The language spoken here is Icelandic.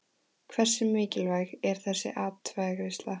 Hversu mikilvæg er þessi atkvæðagreiðsla?